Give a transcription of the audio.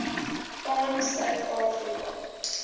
aan suid afrika